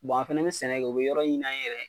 Bɔn an fɛnɛ be sɛnɛ kɛ u be yɔrɔ ɲin'an ye yɛrɛ